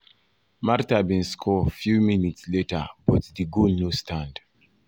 martha bin um score few minutes later but di goal no stand. um